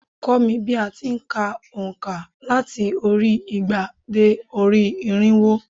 Kọ́ mi bí a ti n ka ònkà láti orí igba dé orí irínwó